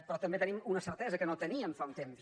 però també tenim una certesa que no teníem fa un temps